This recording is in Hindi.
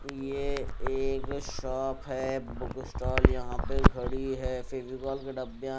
ये एक शॉप है बुक स्टाल यहां पे खड़ी है फेविकोल का डबया--